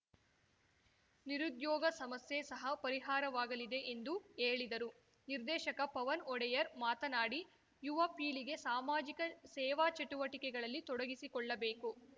ನಿರುದ್ಯೋಗ ಸಮಸ್ಯೆ ಸಹ ಪರಿಹಾರವಾಗಲಿದೆ ಎಂದು ಹೇಳಿದರು ನಿರ್ದೇಶಕ ಪವನ್‌ ಒಡೆಯರ್‌ ಮಾತನಾಡಿ ಯುವ ಪೀಳಿಗೆ ಸಾಮಾಜಿಕ ಸೇವಾ ಚಟುವಟಿಕೆಗಳಲ್ಲಿ ತೊಡಗಿಸಿಕೊಳ್ಳಬೇಕು